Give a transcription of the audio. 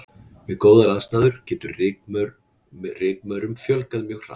við góðar aðstæður getur rykmaurum fjölgað mjög hratt